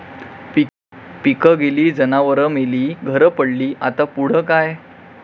पिकं गेली, जनावरं मेली, घरं पडली..,आता पुढं काय?